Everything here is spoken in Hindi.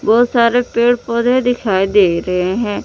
बहुत सारे पेड़ पौधे दिखाई दे रहे हैं।